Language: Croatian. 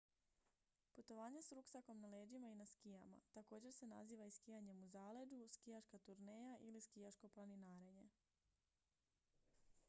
putovanje s ruksakom na leđima i na skijama također se naziva i skijanjem u zaleđu skijaška turneja ili skijaško planinarenje